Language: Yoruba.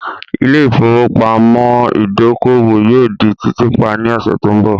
Ilé ìfowópamọ́ ìdókòwò yóò di títì pa ní ọ̀sẹ̀ tó ń bọ̀.